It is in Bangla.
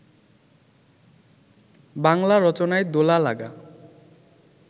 বাঙলা রচনায় দোলা-লাগা